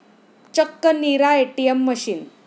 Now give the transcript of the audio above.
चक्क 'नीरा ATM' machine!